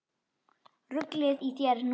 Ruglið í þér núna!